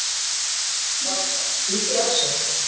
Valka, hringdu í Axel.